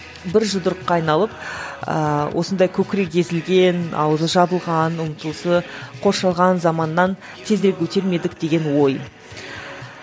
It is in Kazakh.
бір жұдырыққа айналып ыыы осындай көкірегі езілген аузы жабылған ұмтылысы қоршаған заманнан тезірек өтер ме едік деген ой